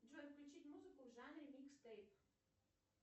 джой включить музыку в жанре микстейп